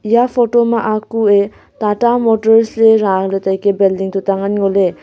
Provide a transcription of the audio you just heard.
eya photo ma kue tata motors ley raa ley taike building tuta ngan ngo ley.